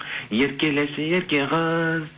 еркелеші ерке қыз